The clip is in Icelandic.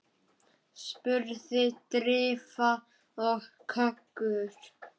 spurði Drífa og kökkur